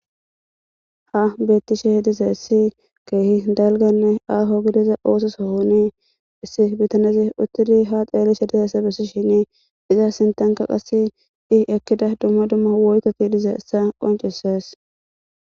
ha bettishe dizaysi issi keehi dalganne aho gidiza oososohoni issi bitanezi uttudi ha xeelishe dizaesse bessi shene iza sintanka qasse i ekkida dumma dumma woykka kiidize issa qonceses